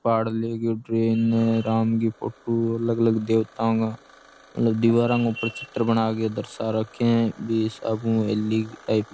पहाड़ ले गयो ट्रेन है राम गी फोटो अलग अलग देवतां गा अलग दिवाराँ गै ऊपर चित्र बनागै दर्शा रखें है बी हिसाब ऊं हवेली टाईप --